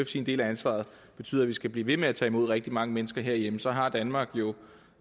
sin del af ansvaret betyder at vi skal blive ved med at tage imod rigtig mange mennesker herhjemme så har danmark jo